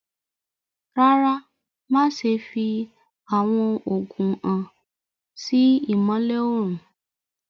Rárá, má ṣẹ̀ fì awọn oogun hàn sí ìmọ̀lẹ̀ õrùn.